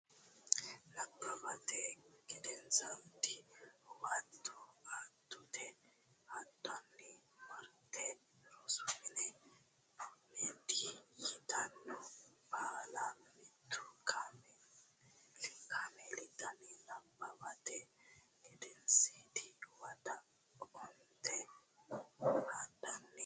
Nabbawate Gedensiidi Huwato Atoote hadhanni marte rosu mine meddi yitanno balla mittu kaameeli daanno Nabbawate Gedensiidi Huwato Atoote hadhanni marte.